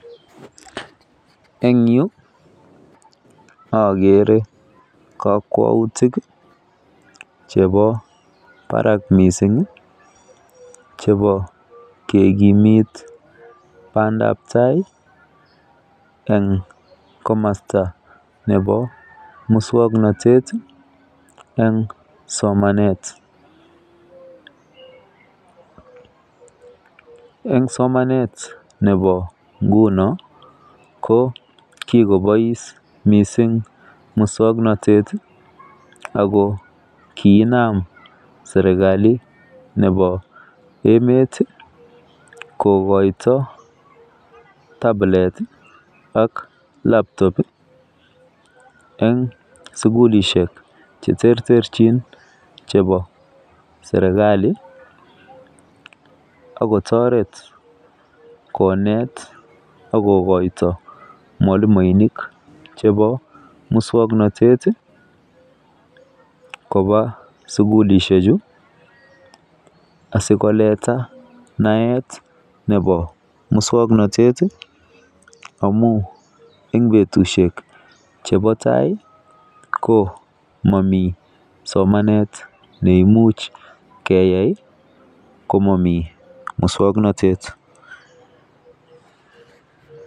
En yu agree kakwautik chebo Barak mising chebo kekimit bandab tai en komasta Nebo muswaknatet en somanet en somanet Nebo ngunon ko kikobais mising muswaknatet akiKinam serikali Nebo emet kokaito tablet ak labtob en sugulishek cheterterchin chebo serikali akotaret konet akokaito mwalimuinik chebo muswaknatet Koba sugulishek Chu sikoletanet Nebo muswaknatet amun en betushek chebo tai komami somanet neimuche keyai komami muswaknatet